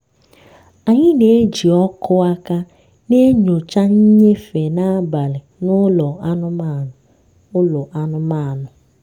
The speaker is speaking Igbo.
anyị na-eji ọkụ aka na-enyocha nnyefe n'abalị na ụlọ anụmanụ. ụlọ anụmanụ.